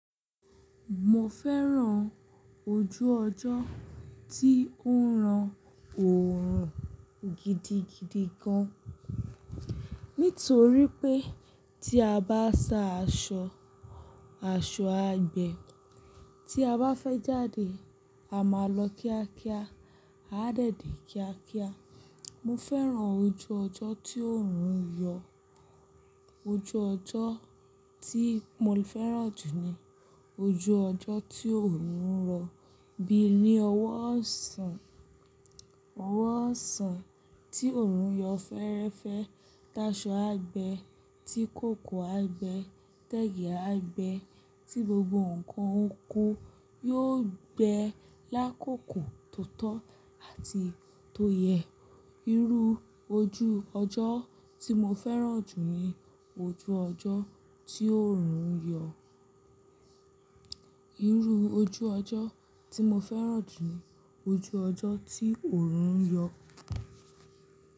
Mo fẹ́ràn ojú ọjọ́ tí ó ń ran òórùn gidigidi gan. Nítorí pé tí a bá sa aṣọ, aṣọ á gbe Tí a bá fẹ́ jáde, a máa lọ kíákíá, á dẹ̀dẹ̀ kíákíá. Mo fẹ́ràn ojú ọjọ́ tí òórùn ń yọ. Ojú ọjọ́ tí mo fẹ́ràn jù ni ojú ọjọ́ tí òórùn ń rọ. Bí i ní ọwọ́ ọ̀sán, ọwọ́ ọ̀sán tí òórùn yọ fẹ́ẹ́rẹ́fẹ́. Tí aṣọ á gbe tí kòkò á gbe tẹ́gẹ̀ẹ́ á gbe tí gbogbo nǹkan oko yóò gbe lákòókò tó tọ́ àti tó yẹ. Irú ojú ọjọ́ tí mo fẹ́ràn jù ni ojú ọjọ́ tí òórùn ń yọ. Irú ojú ọjọ́ tí mo fẹ́ràn jù ni ojú ọjọ́ tí òórùn ń yọ.